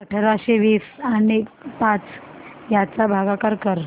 अठराशे वीस आणि पाच यांचा भागाकार कर